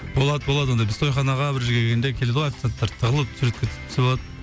болады болады ондай біз тойханаға бір жерге келгенде келеді ғой официанттар тығылып суретке түсіп түсіп алады